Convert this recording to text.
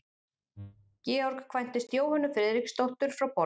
Georg kvæntist Jóhönnu Friðriksdóttur frá Borgum.